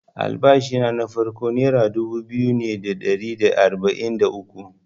Albashina na farko nera dubu biyu ne da ɗari da arba’in da uku.